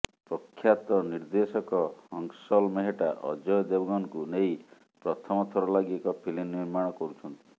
ପ୍ରଖ୍ୟାତ ନିର୍ଦ୍ଦେଶକ ହଂସଲ ମେହେଟ୍ଟା ଅଜୟ ଦେବଗନଙ୍କୁ ନେଇ ପ୍ରଥମ ଥର ଲାଗି ଏକ ଫିଲ୍ମ ନିର୍ମାଣ କରୁଛନ୍ତି